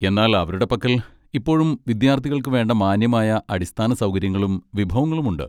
എന്നാൽ അവരുടെ പക്കൽ ഇപ്പോഴും വിദ്യാർത്ഥികൾക്കു വേണ്ട മാന്യമായ അടിസ്ഥാന സൗകര്യങ്ങളും വിഭവങ്ങളുമുണ്ട്.